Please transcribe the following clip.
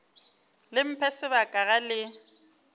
le mphe sebaka ga le